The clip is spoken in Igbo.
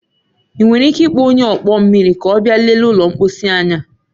Ị nwere ike ịkpọ onye ọkpọ mmiri ka ọ bịa lelee ụlọ mposi anyi a?